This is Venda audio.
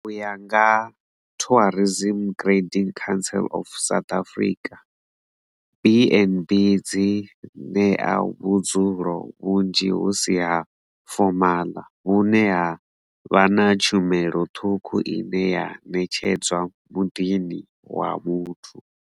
U ya nga Tourism Grading Council of South Africa, BnB dzi ṋea vhudzulo vhunzhi hu si ha fomaḽa vhune ha vha na tshumelo ṱhukhu ine ya netshedzwa muḓini wa muthu.